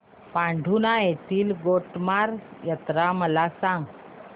पांढुर्णा येथील गोटमार यात्रा मला सांग